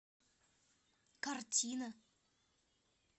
картина